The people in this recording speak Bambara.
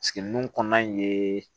kɔnɔna in ye